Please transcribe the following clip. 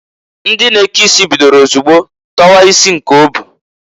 Ndị na-eke isi bidoro ozugbo tọwa isi nke o bu.